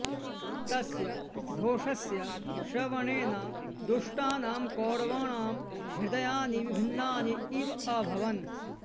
तस्य घोषस्य श्रवणेन दुष्टानां कौरवाणां हृदयानि विभिन्नानि इव अभवन्